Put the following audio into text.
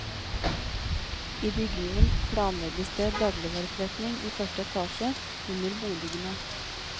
I bygningen planlegges det dagligvareforretning i første etasje under boligene.